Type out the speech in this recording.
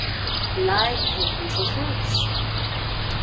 Læk er eins og hrós